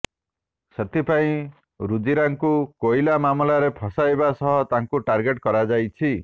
ସେଥିପାଇଁ ରୁଜିରାଙ୍କୁ କୋଇଲା ମାମଲାରେ ଫସାଇବା ସହ ତାଙ୍କୁ ଟାର୍ଗେଟ କରାଯାଉଛି